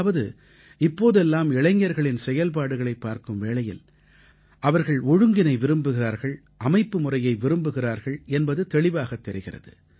அதாவது இப்போதெல்லாம் இளைஞர்களின் செயல்பாடுகளைப் பார்க்கும் வேளையில் அவர்கள் ஒழுங்கினை விரும்புகிறார்கள் அமைப்புமுறையை விரும்புகிறார்கள் என்பது தெளிவாகத் தெரிகிறது